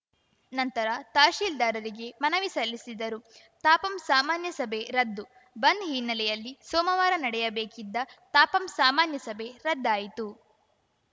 ನಂತರ ತಹಸೀಲ್ದಾರರಿಗೆ ಮನವಿ ಸಲ್ಲಿಸಿದರು ತಾಪಂ ಸಾಮನ್ಯ ಸಭೆ ರದ್ದು ಬಂದ್‌ ಹಿನ್ನೆಲ್ಲೆಯಲ್ಲಿ ಸೋಮವಾರ ನಡೆಯಬೇಕಿದ್ದ ತಾಪಂ ಸಾಮನ್ಯ ಸಭೆ ರದ್ದಾಯಿತು